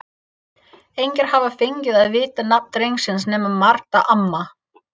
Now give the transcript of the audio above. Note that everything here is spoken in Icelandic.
Engir hafa fengið að vita nafn drengsins nema Marta amma.